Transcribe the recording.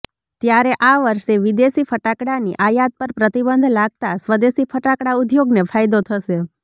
ત્યારે આ વર્ષે વિદેશી ફટાકડાની આયાત પર પ્રતિબંધ લાગતા સ્વદેશી ફટાકડા ઉધોગને ફાયદો થશે